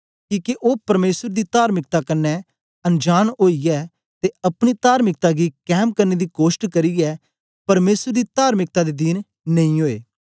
किके ओ परमेसर दी तार्मिकता कन्ने अनजांन ओईयै ते अपनी तार्मिकता गी कैम करने दी कोष्ट करियै परमेसर दी तार्मिकता दे दीन नेई ओए